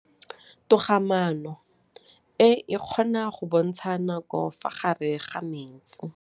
Toga-maanô e, e kgona go bontsha nakô ka fa gare ga metsi.